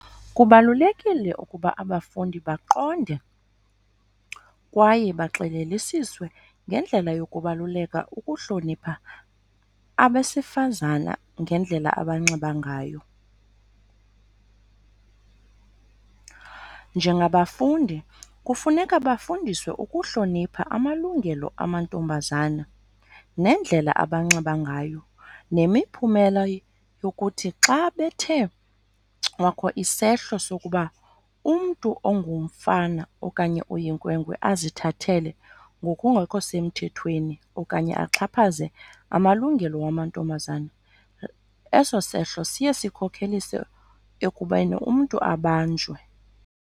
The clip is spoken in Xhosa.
Kubalulekile ukuba abafundi baqonde kwaye baxelelisiswe ngendlela yokubaluleka ukuhlonipha abesifazana ngendlela abanxiba ngayo. Njengabafundi kufuneka bafundiswe ukuhlonipha amalungelo amantombazana nendlela abanxiba ngayo, nemiphumela yokuthi xa bethe kwakho isehlo sokuba umntu ongumfana okanye oyinkwenkwe azithathele ngokungekho semthethweni okanye axhaphaze amalungelo wamantombazana, eso sehlo siye sikhokhelise ekubeni umntu abanjwe.